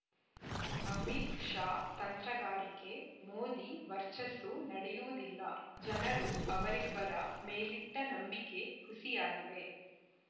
ಅಮಿತ್‌ ಶಾ ತಂತ್ರಗಾರಿಕೆ ಮೋದಿ ವರ್ಚಸ್ಸು ನಡೆಯುವುದಿಲ್ಲ ಜನರು ಅವರಿಬ್ಬರ ಮೇಲಿಟ್ಟನಂಬಿಕೆ ಹುಸಿಯಾಗಿದೆ